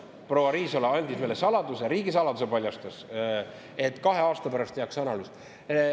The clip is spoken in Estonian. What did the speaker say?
Proua Riisalo paljastas meile riigisaladuse, et kahe aasta pärast tehakse analüüs.